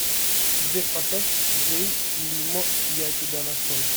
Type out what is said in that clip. сбер поставь джэй лимо я тебя нашел